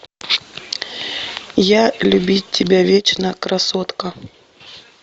я любить тебя вечно красотка